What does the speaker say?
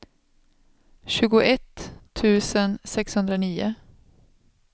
tjugoett tusen sexhundranio